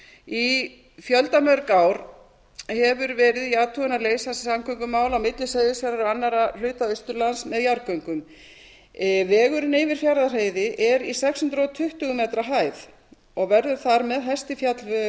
í fjöldamörg ár hefur verið í athugun að leysa samgöngumál á milli seyðisfjarðar og annarra hluta austurlands með jarðgöngum vegurinn yfir fjarðarheiði er í sex hundruð tuttugu m hæð og verður þar með hæsti fjallvegur